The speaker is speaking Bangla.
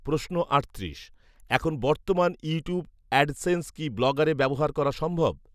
প্রশ্ন আটত্রিশ, এখন বর্তমান ইউটিউব অ্যাডসেন্স কি ব্লগার এ ব্যবহার করা সম্ভব